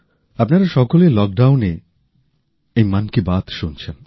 আপনারা সকলে লকডাউনে এই মন কি বাত শুনছেন